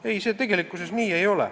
Ei, nii see ei ole.